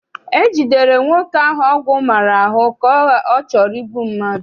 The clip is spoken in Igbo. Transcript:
E jidere nwoke ahụ ọgwụ maara ahụ ka ọ chọrọ igbu mmadụ.